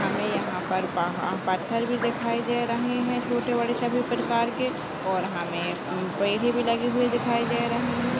हमें यहाँ पर पहा पत्थर भी दिखाई दे रहे हैं छोटे बड़े सभी प्रकार के और हमे पेड़ भी लगे हुए दिखाई दे रहे हैं।